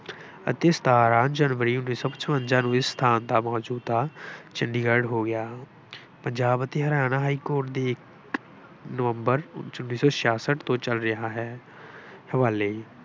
ਅਤੇ ਸਤਾਰਾਂ ਜਨਵਰੀ ਉੱਨੀ ਸੌ ਪਚਵੰਜ਼ਾਂ ਨੂੰ ਇਸ ਸਥਾਨ ਦਾ ਮੌਜੂਦਾ ਚੰਡੀਗੜ੍ਹ ਹੋ ਗਿਆ। ਪੰਜਾਬ ਅਤੇ ਹਰਿਆਣਾ ਹਾਈਕੋਰਟ ਵੀਹ ਨਵੰਬਰ ਉੱਨੀ ਸੌ ਛਿਆਸਟ ਤੋਂ ਚੱਲ ਰਿਹਾ ਹੈ। ਹਵਾਲੇ